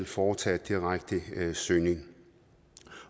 foretage en direkte søgning